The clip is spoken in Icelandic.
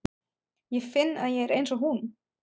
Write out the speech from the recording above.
Ég finn að ég er einsog hún.